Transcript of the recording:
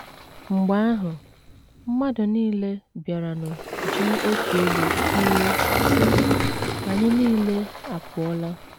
Mgbe ahụ, mmadụ nile bịaranụ ji otu olu kwuo, sị: “ Anyị nile apụọla! ”